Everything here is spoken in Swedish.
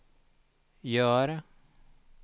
gör